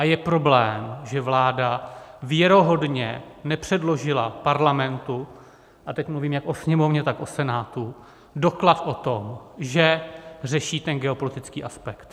A je problém, že vláda věrohodně nepředložila Parlamentu - a teď mluvím jak o Sněmovně, tak o Senátu - doklad o tom, že řeší ten geopolitický aspekt.